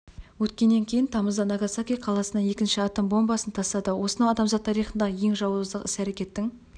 өткеннен кейін тамызда нагасаки қаласына екінші атом бомбасын тастады осынау адамзат тарихындағы ең жауыздық іс-әрекеттің